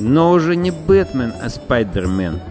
но уже не бэтмен а спайдермен